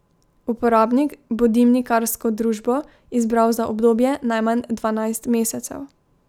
Uporabnik bo dimnikarsko družbo izbral za obdobje najmanj dvanajst mesecev.